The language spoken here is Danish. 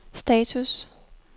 status